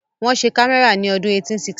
Wọ́n ṣe kámẹ́rà ní ọdún 1816